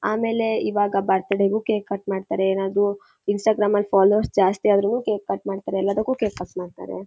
ಆಮೇಲೆ ಇವಾಗ ಬರ್ತ್ಡೇ ಗು ಕೇಕ್ ಕಟ್ ಮಾಡತಾರೆ. ಏನಾದ್ರು ಇನ್ಸ್ಟಾಗ್ರಾಮ್ ಅಲ್ಲಿ ಫಾಲೊವೆರ್ಸ್ ಜಾತಿ ಅದ್ರೂನು ಕೇಕ್ ಕಟ್ ಮಾಡ್ತಾರೆ. ಎಲ್ಲದಕ್ಕೂ ಕೇಕ್ ಕಟ್ ಮಾಡ್ತಾರೆ.